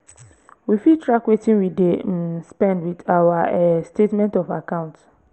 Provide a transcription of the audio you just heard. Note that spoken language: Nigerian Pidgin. we fit track wetin we dey um spend with our um statement of account